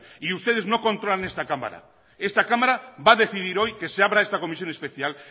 y ustedes no controlan esta cámara esta cámara va a decidir hoy que se abra esta comisión especial